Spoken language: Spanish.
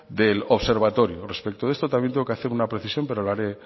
del observatorio respecto a esto también tengo que hacer una precisión pero